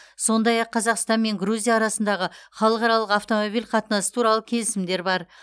сондай ақ қазақстан мен грузия арасындағы халықаралық автомобиль қатынасы туралы келісімдер бар